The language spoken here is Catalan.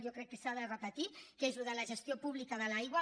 jo crec que s’ha de repetir allò de la gestió pública de l’aigua